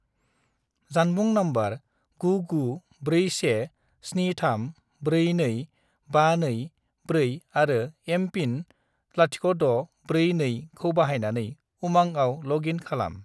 जानबुं नम्बर 99417342524 आरो एम.पिन. 0642 खौ बाहायनानै उमांआव लग इन खालाम।